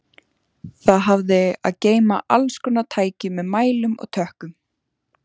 Það hafði að geyma allskonar tæki með mælum og tökkum.